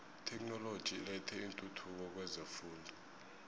itheknoloji ilethe intuthuko kwezefundo